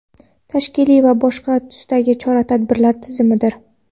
tashkiliy va boshqa tusdagi chora-tadbirlar tizimidir.